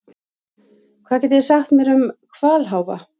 Hvað getið þið sagt mér um hvalháfa?